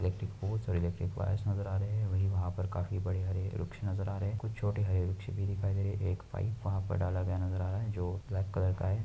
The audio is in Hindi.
इलेक्ट्रिक बहुत सारे इलेक्ट्रिक वायरस नजर आ रहे है वही वहाँं पर काफी बड़े हरे भरे वृक्ष नजर आ रहे कुछ छोटे हरे वृक्ष भी दिखाई दे रहे वहाँं पे एक पाइप डाला गया नजर आ रहा है जो ब्लैक कलर का है।